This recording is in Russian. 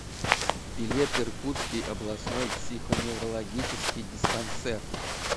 билет иркутский областной психоневрологический диспансер